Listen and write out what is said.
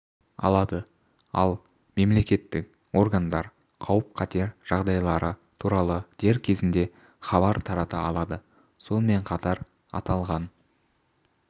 алады ал мемлекеттік органдар қауіп-қатер жағдайлары туралы дер кезінде хабар тарата алады сонымен қатар аталған